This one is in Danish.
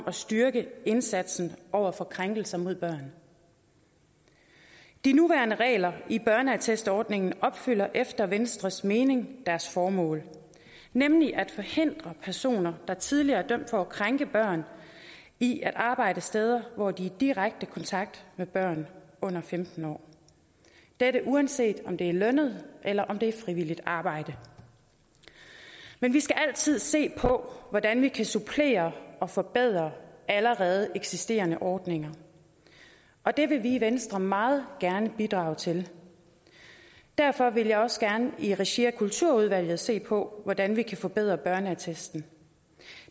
at styrke indsatsen over for krænkelser mod børn de nuværende regler i børneattestordningen opfylder efter venstres mening deres formål nemlig at forhindre personer der tidligere er dømt for at krænke børn i at arbejde steder hvor de er i direkte kontakt med børn under femten år dette uanset om det er lønnet eller om det er frivilligt arbejde men vi skal altid se på hvordan vi kan supplere og forbedre allerede eksisterende ordninger og det vil vi i venstre meget gerne bidrage til derfor vil jeg også gerne i regi af kulturudvalget se på hvordan vi kan forbedre børneattesten